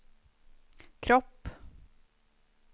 kropp